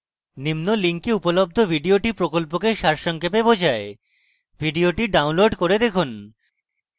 নিম্ন link উপলব্ধ video প্রকল্পকে সারাংশিত করে video download করে দেখুন